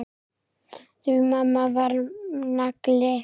Því mamma var nagli.